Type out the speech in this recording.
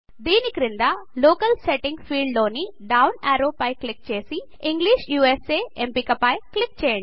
దీని క్రింద locale setting field లోని డౌన్ యారో పై క్లిక్ చేసి ఇంగ్లిష్ యూఎస్ఏ ఎంపిక పై క్లిక్ చేయండి